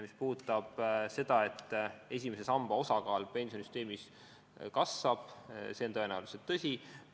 Mis puudutab seda, et esimese samba osakaal pensionisüsteemis kasvab, siis see on tõenäoliselt tõsi.